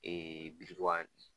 birintubani